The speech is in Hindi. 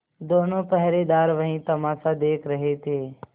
दोनों पहरेदार वही तमाशा देख रहे थे